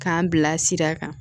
K'an bila sira kan